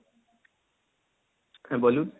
হ্যাঁ বলুন?